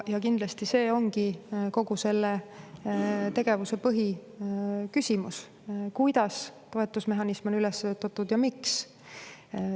Kindlasti see ongi kogu selle tegevuse põhiküsimus, kuidas toetusmehhanism on üles ehitatud ja miks.